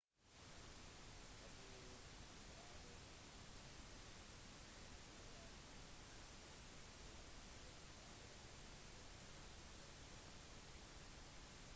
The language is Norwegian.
abu ghraib-fengselet i irak er blitt satt i fyr under et opprør